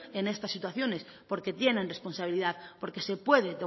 en estas situaciones porque tienen responsabilidad porque se puede